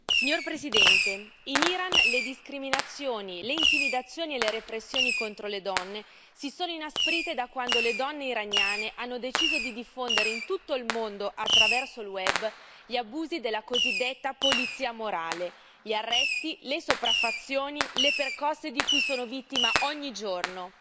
Signor Presidente, onorevoli colleghi, in Iran le discriminazioni, le intimidazioni e le repressioni contro le donne si sono inasprite da quando le donne iraniane hanno deciso di diffondere in tutto il mondo, attraverso il web, gli abusi della cosiddetta polizia morale, gli arresti, le sopraffazioni e le percosse di cui sono vittima ogni giorno.